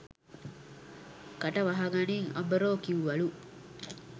කට වහගනිං අබරෝ කිව්වලු.